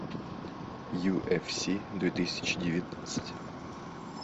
юфс две тысячи девятнадцать